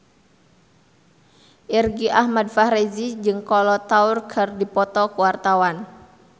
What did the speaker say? Irgi Ahmad Fahrezi jeung Kolo Taure keur dipoto ku wartawan